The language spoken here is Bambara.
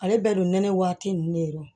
Ale bɛɛ dun nɛnɛ waati ne don